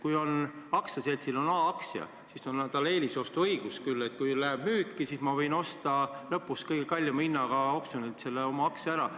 Kui aktsiaseltsil on A aktsia, siis on tal eelisostu õigus, nii et kui aktsia läheb müüki, siis ma võin osta lõpus kõige kallima hinna eest oksjonil oma aktsia ära.